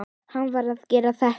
Hann varð að gera þetta.